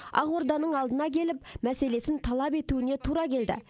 ақорданың алдына келіп мәселесін талап етуіне тура келді